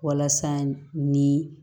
Walasa ni